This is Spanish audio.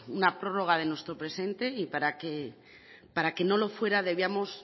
una prórroga de nuestro presente y para que no lo fuera debemos